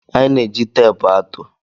Anyị na-eji teepu atụ.